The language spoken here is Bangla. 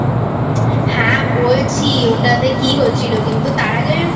হ্যাঁ বলছি ওটাতে কী হয়েছিল কিন্তু তার আগে